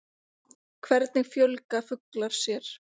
Hvernig fjölga fuglar sér?